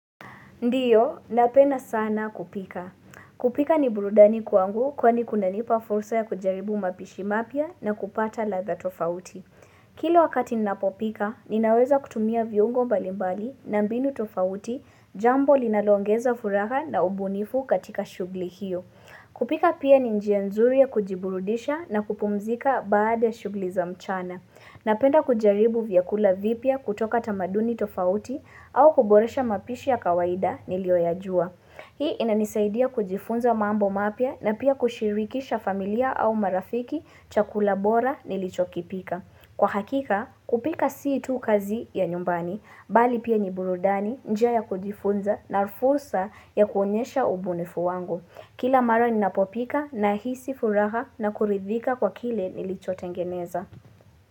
Ndiyo, napenda sana kupika. Kupika ni burudani kwangu kwani kunanipa fursa ya kujaribu mapishi mapya na kupata ladha tofauti. Kila wakati ninapopika, ninaweza kutumia viungo mbalimbali na mbinu tofauti, jambo linaloongeza furaha na ubunifu katika shughuli hiyo. Kupika pia ni njia nzuri ya kujiburudisha na kupumzika baada shughuli za mchana. Napenda kujaribu vyakula vipya kutoka tamaduni tofauti au kuboresha mapishi ya kawaida niliyoyajua. Hii inanisaidia kujifunza mambo mapya na pia kushirikisha familia au marafiki chakula bora nilichokipika. Kwa hakika, kupika si tu kazi ya nyumbani, bali pia ni burudani njia ya kujifunza na fursa ya kuonyesha ubunifu wangu. Kila mara ninapopika nahisi furaha na kuridhika kwa kile nilichotengeneza.